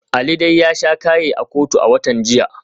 Ali dai ya sha kaye a kotu a watan jiya.